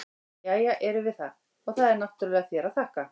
Jæja, erum við það, og það er náttúrlega þér að þakka!